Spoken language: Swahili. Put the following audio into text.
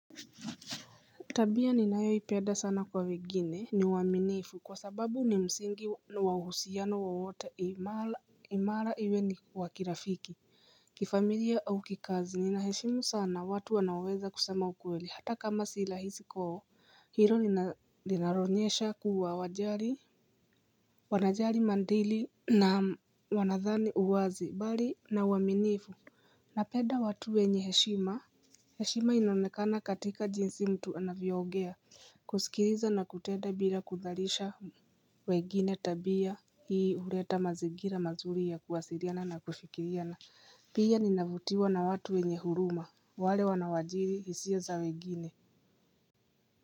Tabia ninayoipenda sana kwa wengine ni uaminifu, kwa sababu ni msingi wa uhusiano wowote imara imara iwe ni wakirafiki, kifamilia au kikazi. Ninaheshimu sana watu wanaoweza kusema ukweli hata kama si rahisi kwao, hilo linaonyesha kuwa wajali wanajali maadili na wanadhani uwazi bali na uaminifu Napenda watu wenye heshima. Heshima inaonekana katika jinsi mtu anavyoongea kusikiliza na kutenda bila kutharisha wengine tabia hii huleta mazingira mazuri ya kuwasiliana na kufikiriana. Pia ninavutiwa na watu wenye huruma wale wanawajiri hisia za wengine.